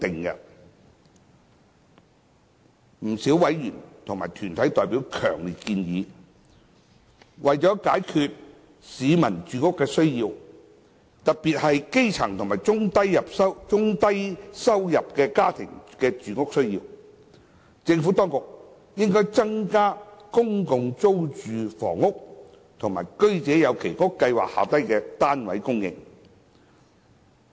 不少委員和團體代表強烈建議，為解決市民的住屋需要，特別是基層及中低收入家庭的住屋需要，政府當局應增加公共租住房屋及居者有其屋計劃下的單位供應。